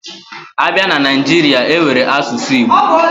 Abia na Naijiri, enwere asusu Igbo